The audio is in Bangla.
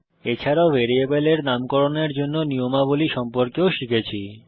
এছাড়াও ভ্যারিয়েবলের নামকরণের জন্য নিয়মাবলী সম্পর্কেও শিখেছি